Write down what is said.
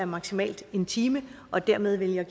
maksimalt er en time og dermed vil jeg